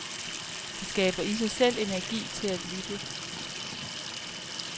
Det skaber i sig selv energi til at lytte.